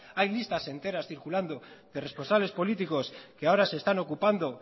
hay listas enteras circulando de responsables políticos que ahora se están ocupando